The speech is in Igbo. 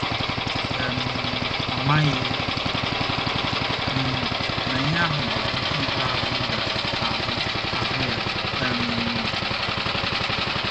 um Amaghị m na ihe ahụ bụ nke ikpeazụ m ga - ahụ - ahụ ya um.